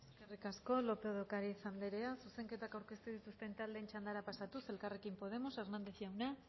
eskerrik asko lópez de ocariz andrea zuzenketak aurkeztu dituzten taldeen txandara pasatuz elkarrekin podemos hernández jauna